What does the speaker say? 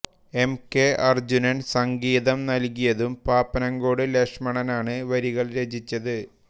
M K Arjunan സംഗീതം നൽകിയതും പാപ്പനംകോട് ലക്ഷ്മണനാണ് വരികൾ രചിച്ചത്